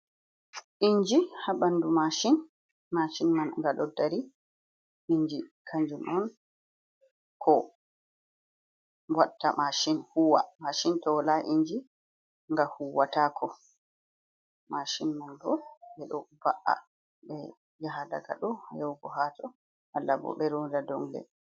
inji ha ɓandu mashin, mashin man nga ɗo dari. Inji kanjum on, ko watta mashin huwa. Mashin to wola inji nga huwatako. Mashin man bo, ɓe ɗo va'a ɓe yaha daga ɗo yahugo hato, malla bo ɓe ronda dongle.